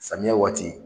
Samiya waati